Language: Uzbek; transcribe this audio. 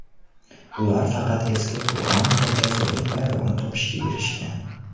Ular faqat eski Qur’on va Jazoir bayrog‘ini topishga erishgan.